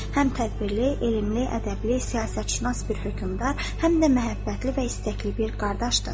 həm tədbirli, elmli, ədəbli, siyasətşünas bir hökmdar, həm də məhəbbətli və istəkli bir qardaşdır.